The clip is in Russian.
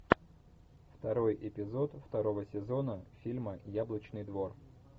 второй эпизод второго сезона фильма яблочный двор